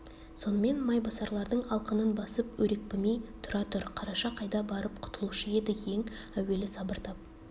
сонымен майбасарлардың алқынын басып өрекпімей тұра тұр қараша қайда барып құтылушы еді ең әуелі сабыр тап